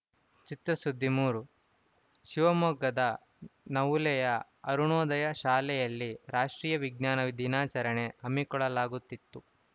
ಚಿತ್ರಸುದ್ದಿ ಮೂರು ಶಿವಮೊಗ್ಗದ ನವುಲೆಯ ಅರುಣೋದಯ ಶಾಲೆಯಲ್ಲಿ ರಾಷ್ಟ್ರೀಯ ವಿಜ್ಞಾನ ದಿನಾಚರಣೆ ಹಮ್ಮಿಕೊಳ್ಳಲಾಗುತಿತ್ತು